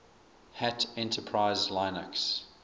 hat enterprise linux